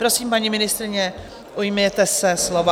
Prosím, paní ministryně, ujměte se slova.